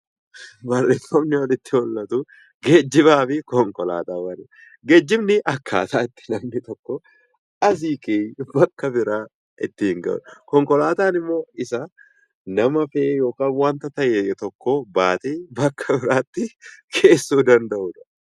Barreeffamni olitti mul'atu geejjibaa fi konkolaataawwan jedha. Geejjibni akkaataa wanti tokko asii ka'ee biraa ittiin gahu. Konkolaataan immoo isa nama fe'ee yookaan waanta ta'e tokko baatee bakka biraatti geessuu danda'udha.